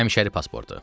Həmişəri pasportu.